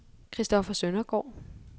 Christoffer Søndergaard